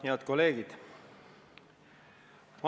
Head kolleegid!